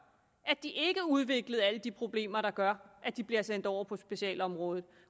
at de ikke udviklede alle de problemer der gør at de bliver sendt over på specialområdet